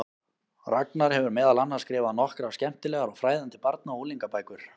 Ragnar hefur meðal annars skrifað nokkrar skemmtilegar og fræðandi barna- og unglingabækur.